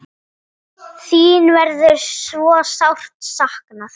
Þín verður svo sárt saknað.